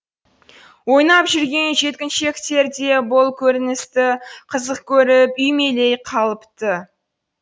ойнап жүрген жеткіншектер де бұл көріністі қызық көріп үймелей қалыпты